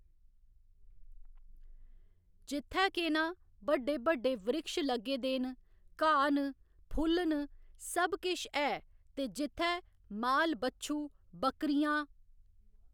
जित्थै केह् नां बड्डे बड्डे वृक्ष लग्गे दे नं घाऽ न फुल्ल न सब किश ऐ ते जित्थै माल बच्छू, बकरियां